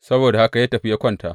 Saboda haka ya tafi ya kwanta.